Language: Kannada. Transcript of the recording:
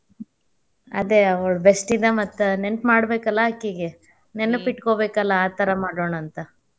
ಅದ ಅವಳ bestie ದ ಮತ್ತ ನೆನ್ಪ್ ಮಾಡ್ಬೇಕಲಾ ಆಕಿಗೆ. ನೆನಪ ಇಟ್ಕೋಬೇಕಲಾ ಆ ಥರಾ ಮಾಡೋಣಂತ.